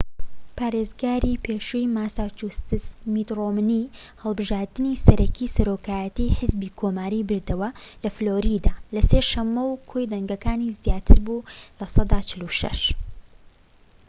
پارێزگاری پێشووی ماساچوستس میت ڕۆمنی هەڵبژاردنی سەرەکیی سەرۆکایەتیی حیزبی کۆماریی بردەوە لە فلۆریدا، لە سێ شەمە و کۆی دەنگەکانی زیاتر بوو لە سەدا ٤٦